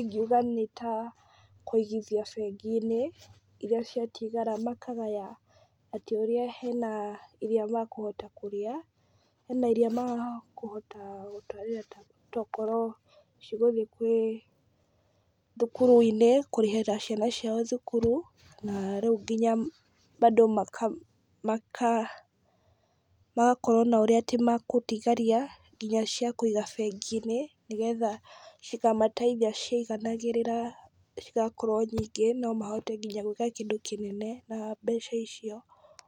ingiuga nitakũigithia bengi-inĩ, iria ciatigara makagaya atĩ ũrĩa hena iria makũhota kũrĩa, hena iria makũhota tokorwo cigũgĩthiĩ thukuru-inĩ, kũrĩhĩra ciana ciao thukuru, na rĩu nginya bado maka magakorwo na ũrĩa magũtigaria nginya cia kũiga bengi-inĩ , nĩgetha cikamateithia ciiganagĩrĩra cigakorwo nyingĩ, no mahote nginya gwĩka kĩndũ kĩnene na mbeca icio.